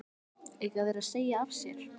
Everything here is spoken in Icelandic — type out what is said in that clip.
Sighvatur: Eiga þeir að segja af sér?